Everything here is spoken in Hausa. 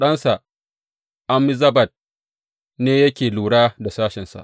Ɗansa Ammizabad ne yake lura da sashensa.